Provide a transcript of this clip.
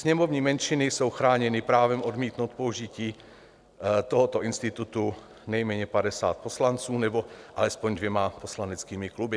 Sněmovní menšiny jsou chráněny právem odmítnout použití tohoto institutu nejméně 50 poslanců nebo alespoň dvěma poslaneckými kluby.